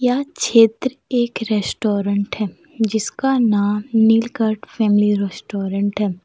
यह क्षेत्र एक रेस्टोरेंट है जिसका नाम नीलकंठ फैमिली रेस्टोरेंट है।